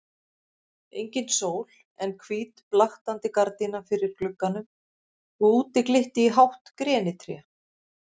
Engin sól en hvít blaktandi gardína fyrir glugganum og úti glitti í hátt grenitré.